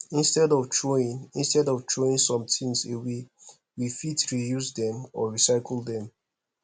instead of throwing instead of throwing some things away we fit reuse them or recycle them